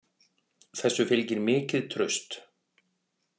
Þessu fylgir mikið traust